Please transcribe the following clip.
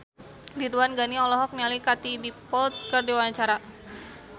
Ridwan Ghani olohok ningali Katie Dippold keur diwawancara